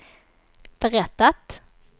berättat